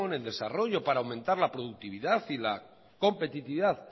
en desarrollo para aumentar la productividad y la competitividad